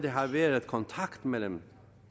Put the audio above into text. har været kontakt mellem